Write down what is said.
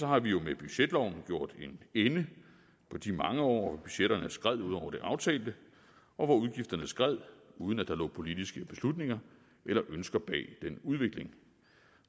har vi med budgetloven gjort en ende på de mange år budgetterne skred ud over det aftalte og hvor udgifterne skred uden at der lå politiske beslutninger eller ønsker bag den udvikling